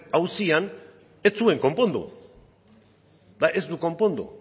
auzian ez zuen konpondu eta ez du konpondu